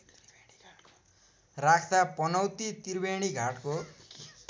राख्दा पनौती त्रिवेणीघाटको